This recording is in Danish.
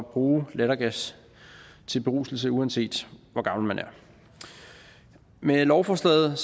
bruge lattergas til beruselse uanset hvor gammel man er med lovforslaget